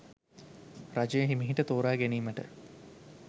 රජය හෙමිහිට තෝරාගැනීමට